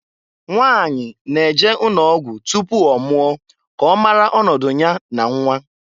Nwanyị na-eje ụnọgwụ tupu ọmụọ ka ọmara ọnọdụ nya na nnwa.